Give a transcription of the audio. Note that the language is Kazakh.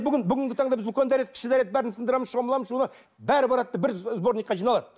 бүгін бүгінгі таңда біз үлкен дәрет кіші дәрет бәрін сындырамыз шомыламыз бәрі барады да бір сборникқа жиналады